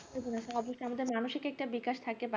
আমাদের মানসিক একটা বিকাশ থাকে